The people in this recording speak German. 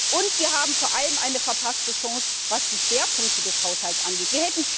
Und wir haben vor allem eine verpasste Chance, was die Schwerpunkte des Haushalts angeht.